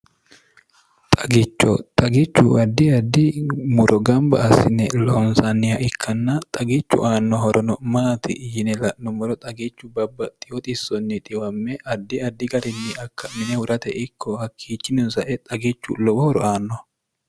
xagicho xagichu addi addi muro gamba assine lonsaaniha ikkanna xagichu aanno horono maati yine la'numoro xagichu babbaxewo xissonni dhiwame addi addi garinni akka mine hurate ikko hakkiichinino sae xagichu lowo horo aanno